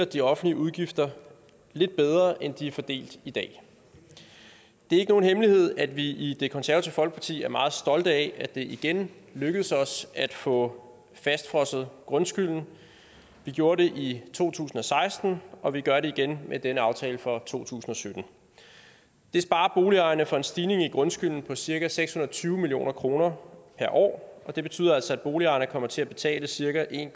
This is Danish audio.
de offentlige udgifter lidt bedre end de er fordelt i dag det er ikke nogen hemmelighed at vi i det konservative folkeparti er meget stolte af at det igen lykkedes os at få fastfrosset grundskylden vi gjorde det i to tusind og seksten og vi gør det igen med denne aftale for to tusind og sytten det sparer boligejerne for en stigning i grundskylden på cirka seks hundrede og tyve million kroner per år og det betyder altså at boligejerne kommer til at betale cirka en